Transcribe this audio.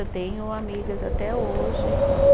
Eu tenho amigas até hoje, né?